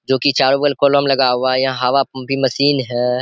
जो कि चारों ओर कॉलम लगा हुआ हैं यहाँ हवा की मशीन हैं।